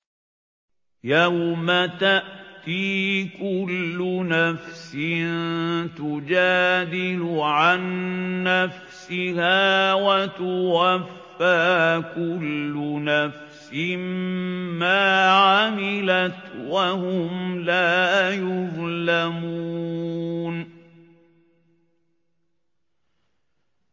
۞ يَوْمَ تَأْتِي كُلُّ نَفْسٍ تُجَادِلُ عَن نَّفْسِهَا وَتُوَفَّىٰ كُلُّ نَفْسٍ مَّا عَمِلَتْ وَهُمْ لَا يُظْلَمُونَ